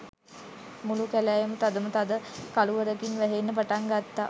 මුළු කැලෑවම තදම තද කළුවරකින් වැහෙන්න පටන් ගත්තා.